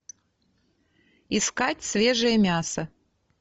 искать свежее мясо